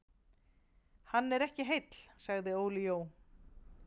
Hann er ekki heill sagði Óli Jó.